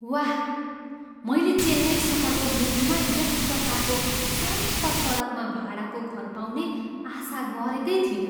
वाह! मैले चेन्नई सहरको मुटुमा यस प्रकारको शान्त सडकमा भाडाको घर पाउने आशा गरेको थिइनँ।